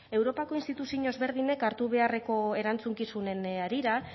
europako instituziño ezberdinek hartu beharreko erantzukizunen harira